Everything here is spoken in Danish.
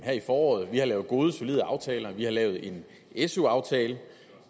her i foråret vi har lavet gode solide aftaler vi har lavet en su aftale